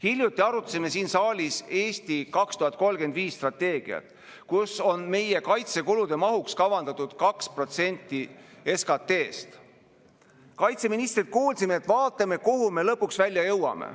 Hiljuti arutasime siin saalis "Eesti 2035" strateegiat, milles on meie kaitsekulude mahuks kavandatud 2% SKT‑st. Kaitseministrilt kuulsime, et vaatame, kuhu me lõpuks välja jõuame.